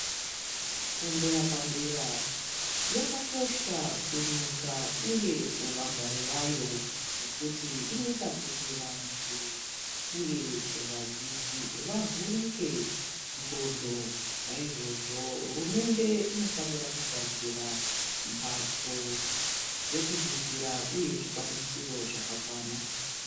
Fundo yapadera yakakosha kunyika , uye kuvagari vayo nekuti inoyita kuti vantu, uye vadzidzi vavhurike ngxondo. Nayizvozvo, hurumende inofanira kugadzira mbatso dzekudzidzira, uye zvikwanisiro zvakakwana.